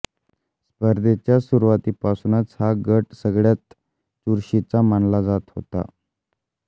स्पर्धेच्या सुरुवातीपासुनच हा गट सगळ्यात चुरशीचा मानला जात होता